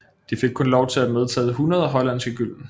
De fik kun lov til at medtage 100 hollandske gylden